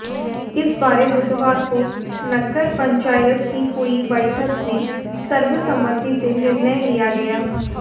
इस बारे बुधवार को नगर पंचायत की हुई बैठक में सर्वसम्मति से निर्णय लिया गया